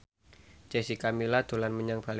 Jessica Milla dolan menyang Balikpapan